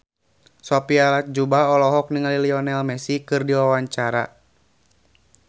Sophia Latjuba olohok ningali Lionel Messi keur diwawancara